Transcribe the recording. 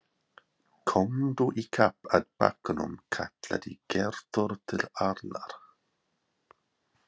Komdu í kapp að bakkanum kallaði Gerður til Arnar.